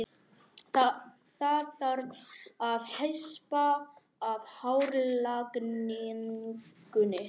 Það þarf að hespa af hárlagningunni.